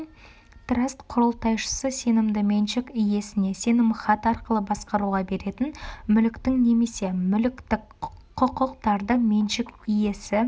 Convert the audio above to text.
траст құрылтайшысы сенімді меншік иесіне сенімхат арқылы басқаруға беретін мүліктің немесе мүліктік құқықтардың меншік иесі